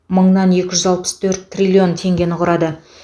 мыңнан екі жүз алпыс төрт триллион теңгені құрады